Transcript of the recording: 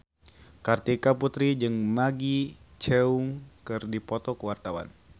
Kartika Putri jeung Maggie Cheung keur dipoto ku wartawan